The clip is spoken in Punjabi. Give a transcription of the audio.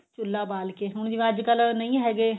ਚੁੱਲ੍ਹਾ ਬਾਲ ਕੇ ਹੁਣ ਜਿਵੇਂ ਅੱਜਕਲ ਨਹੀਂ ਹੈਗੇ